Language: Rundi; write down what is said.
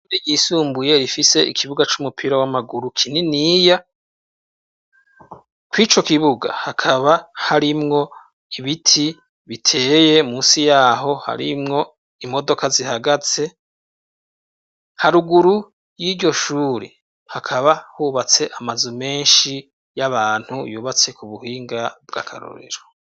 Ishure ry' isumbuye rifis' ikibuga kinini c'umupira w'amaguru, kw'ico kibuga hakaba harimw' ibiti biteye munsi yaho harimw' imodoka zihagaze, haruguru y'iryoshure hakaba hubats' amazu menshi kuburyo bugezweho, hagati mu kibuga har' igiti gishinze kw' ibendera ry' igihugu cu Burundi, iruhande har' imodoka yirabura hasi har' ivu ry' umusenyi.